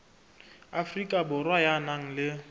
afrika borwa ya nang le